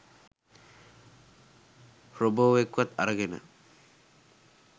රොබෝවෙක්වත් අරගෙන